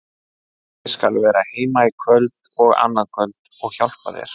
Ég skal vera heima í kvöld og annað kvöld og hjálpa þér.